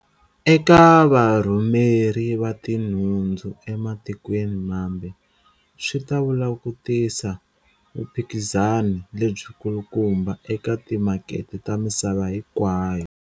Eka varhumeri va tinhundzu ematikweni mambe, swi ta vula ku tisa vuphikizani lebyikulukumba eka timakete ta misava hinkwayo.